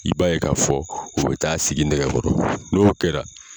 I b'a ye k'a fɔ u bɛ t'a sigi nɛgɛkɔrɔ, n'o kɛra